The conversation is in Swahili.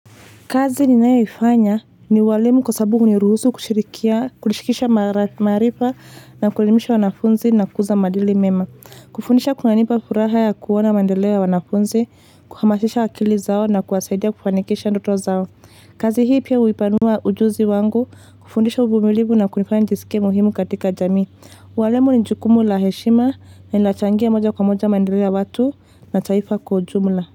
Kazi ninayoifanya ni ualimu kwa sababu huniruhusu kushirikisha, maarifa na kuelimisha wanafunzi na kukuza maadili mema. Kufundisha kunanipa furaha ya kuona mandeleo ya wanafunzi, kuhamasisha akili zao na kuwasaidia kufanikisha ndoto zao. Kazi hii pia hupanua ujuzi wangu kufundisha uvumilivu na kunifanya nijisike muhimu katika jamii. Ualimu ni jukumu la heshima na inachangia moja kwa moja mandeleo ya watu na taifa kwa ujumla.